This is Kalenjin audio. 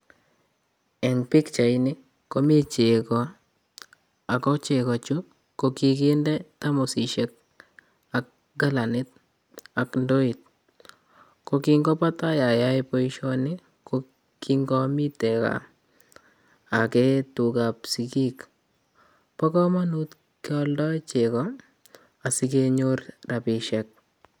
En pichaini komii chego, ako chegoo Chu kokinde thamosisiek ak kalanit ak indoor, ko kin ko netai ayoe boishonii kin amiten gaa Agee tugaa chebo sigiik, Bo komonut ingealda chegoo asikenyoor rabisiek